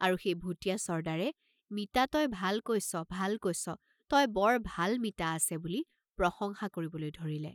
আৰু সেই ভুটীয়া চৰ্দ্দাৰে "মিতা তই ভাল কৈছ, ভাল কৈছ, তই বৰ ভাল মিতা আছে" বুলি প্ৰশংসা কৰিবলৈ ধৰিলে।